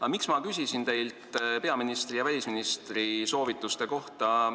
Aga miks ma küsisin teilt peaministri ja välisministri soovituste kohta?